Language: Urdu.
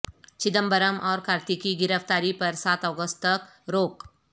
چدمبرم اور کارتی کی گرفتاری پر سات اگست تک روک